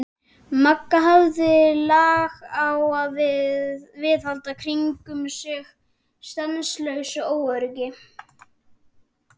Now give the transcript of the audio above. Magga hafði lag á að viðhalda kringum sig stanslausu óöryggi.